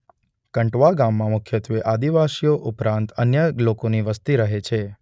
કંટવા ગામમાં મુખ્યત્વે આદિવાસીઓ ઉપરાંત અન્ય લોકોની વસ્તી રહે છે.